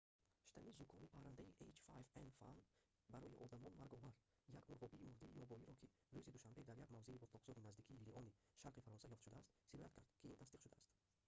штамми зукоми паррандаи h5n1-и барои одамон марговар як мурғобии мурдаи ёбоиро ки рӯзи душанбе дар як мавзеи ботлоқзори наздикии лиони шарқи фаронса ёфт шудааст сироят кард ки ин тасдиқ шудааст